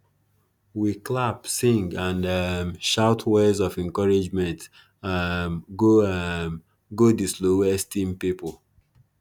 we clap sing and um shout words for encouragement um go um go di slowest team pipo